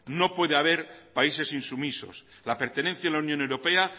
no puede haber países insumisos la pertenencia a la unión europea